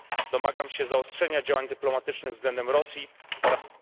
Domagam się zaostrzenia działań dyplomatycznych względem Rosji oraz...